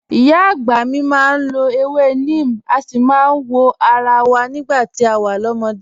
Ìyá àgbà mi máa ń lọ ewé neem, a sì máa ń wọ ara wa nígbà tá a wà lọ́mọdé